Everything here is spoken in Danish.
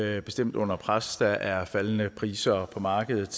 er bestemt under pres der er faldende priser på markedet